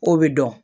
O bɛ dɔn